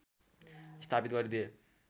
स्थापित गरिदिए